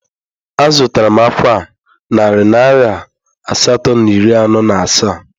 Azụtara m ákwà a narị naira asatọ na iri anọ na asaa